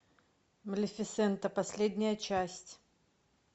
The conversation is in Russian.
малефисента последняя часть